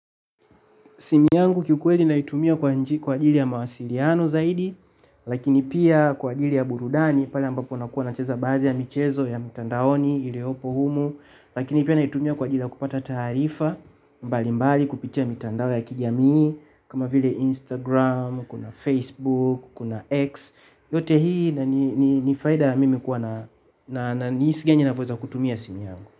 Simu yangu kiukweli naitumia kwa ajili ya mawasiliano zaidi, lakini pia kwa ajili ya burudani, pale ambapo nakuwa nacheza baadhi ya michezo ya mtandaoni, iliopo humu, lakini pia naitumia kwa ajili ya kupata taarifa, mbalimbali kupitia mitandao ya kijamii, kama vile Instagram, kuna Facebook, kuna X, yote hii na ni faida ya mimi kuwa na ni jinsi naweza kutumia simu yangu.